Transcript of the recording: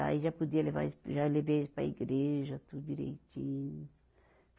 Aí já podia levar eles, já levei eles para a igreja, tudo direitinho.